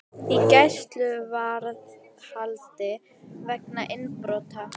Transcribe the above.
Í gæsluvarðhaldi vegna innbrota